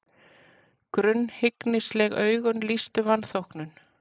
Grunnhyggnisleg augun lýstu vanþóknun.